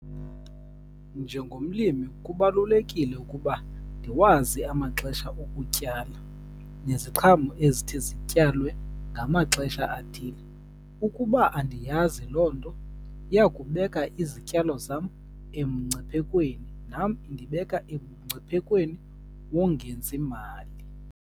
Njengomlimi kubalulekile ukuba ndiwazi amaxesha okutyala neziqhamo ezithi zityalwe ngamaxesha athile. Ukuba andiyazi loo nto iya kubeka izityalo zam emngciphekweni, nam indibeka emngciphekweni wongenzi mali.